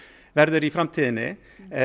verður í framtíðinni